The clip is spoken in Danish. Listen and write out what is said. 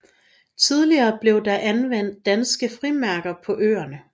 Tidligere blev der anvendt danske frimærker på øerne